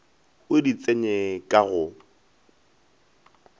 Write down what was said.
o di tsenye ka go